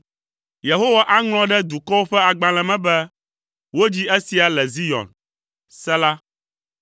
Yehowa aŋlɔ ɖe dukɔwo ƒe agbalẽ me be, “Wodzi esia le Zion.” Sela